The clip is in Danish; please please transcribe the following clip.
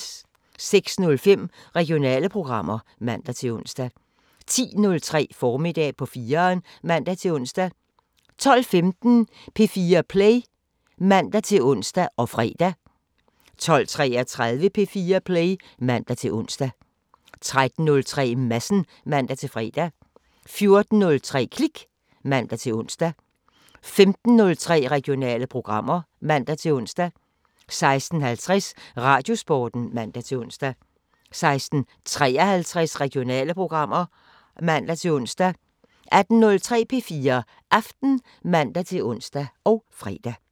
06:05: Regionale programmer (man-ons) 10:03: Formiddag på 4'eren (man-ons) 12:15: P4 Play (man-ons og fre) 12:33: P4 Play (man-ons) 13:03: Madsen (man-fre) 14:03: Klik (man-ons) 15:03: Regionale programmer (man-ons) 16:50: Radiosporten (man-ons) 16:53: Regionale programmer (man-ons) 18:03: P4 Aften (man-ons og fre)